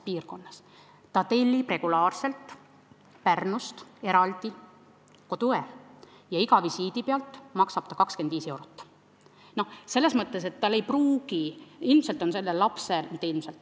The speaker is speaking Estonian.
Perekond tellib eraldi regulaarselt Pärnust koduõe ja maksab iga visiidi pealt 25 eurot.